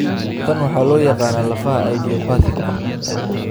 Tan waxaa loo yaqaanaa lafaha idiopathic.